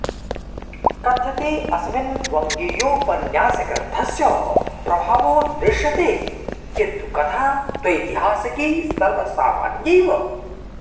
कथ्यते अस्मिन् वङ्गीयोपन्यासग्रन्थस्य प्रभावो दृश्यते किन्तु कथा त्वैतिहासिकी सर्वसामान्यैव